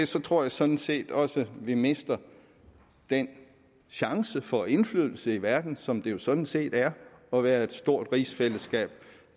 så tror jeg sådan set også vi mister den chance for indflydelse i verden som det jo sådan set er at være et stort rigsfællesskab